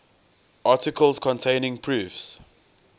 articles containing proofs